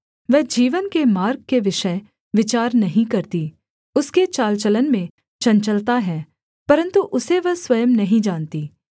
वह जीवन के मार्ग के विषय विचार नहीं करती उसके चाल चलन में चंचलता है परन्तु उसे वह स्वयं नहीं जानती